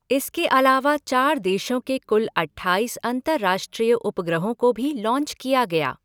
इसके अलावा चार देशों के कुल अट्ठाईस अंतर्राष्ट्रीय उपग्रहों को भी लांच किया गया।